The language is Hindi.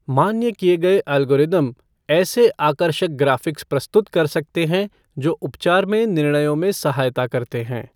मान्य किए गए एल्गोरिदम ऐसे आकर्षक ग्राफ़िक्स प्रस्तुत कर सकते हैं जो उपचार में निर्णयों में सहायता करते हैं।